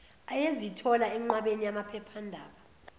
ayezithola enqwabeni yamaphephandaba